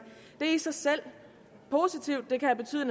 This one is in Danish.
det i sig selv